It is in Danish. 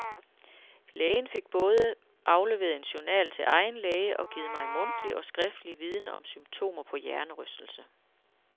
Lægen fik både afleveret en journal til egen læge og givet mig mundtlig og skriftlig viden om symptomer på hjernerystelse.